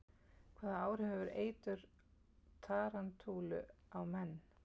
Hvaða áhrif hefur eitur tarantúlu á menn?